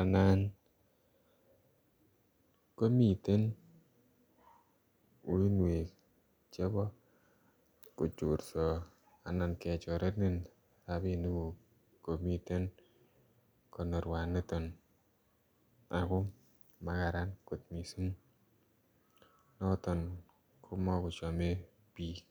anan komiteen uinweek chebo kochoorsaa anan kechorenin rapinik guug komiteen konorweet nitoon ako makararan koot missing notoon ko makochame biik.